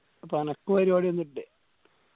അപ്പൊ അനക്ക് പരുവാടി ഒന്നില്ലേ